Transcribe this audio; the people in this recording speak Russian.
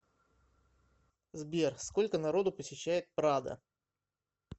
сбер сколько народу посещает прадо